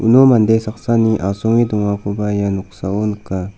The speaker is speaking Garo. uno mande saksani asonge dongakoba ia noksao nika.